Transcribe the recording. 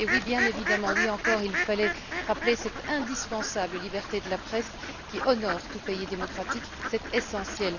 Et oui, bien évidemment, oui encore, il fallait rappeler cette indispensable liberté de la presse qui honore tout pays démocratique, c'est essentiel.